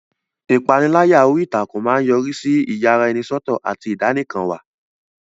Ìpániláyà orí ìtàkùn máa ń yọrí sí ìyaraẹnisọ́tọ̀ àti ìdánìkanwà.